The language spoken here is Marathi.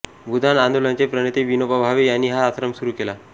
भुदान आंदोलनाचे प्रणेते विनोभा भावे यांनी हा आश्रम सुरू केला